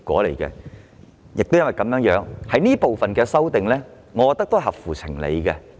正因如此，我認為有關這部分的修訂是合情合理的。